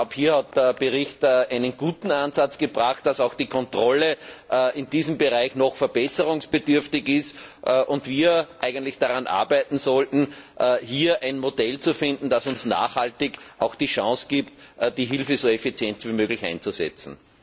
Hier hat der Bericht einen guten Ansatz gebracht Dass auch die Kontrolle in diesem Bereich noch verbesserungsbedürftig ist und wir eigentlich daran arbeiten sollten, hier ein Modell zu finden, das uns nachhaltig die Chance gibt, die Hilfe so effizient wie möglich einzusetzen.